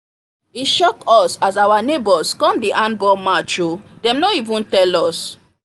e shock us as our neighbors come the handball match o dem no even tell us